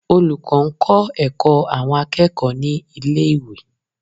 Olùkọ́ ń kọ́ ẹ̀kọ́ àwọn akẹ́kọ̀ọ́ ní ilé ìwé.